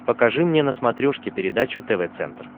покажи мне на смотрешке передачу тв центр